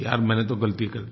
यार मैंने तो गलती कर दी